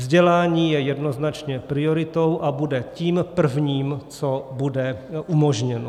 Vzdělání je jednoznačně prioritou a bude tím prvním, co bude umožněno.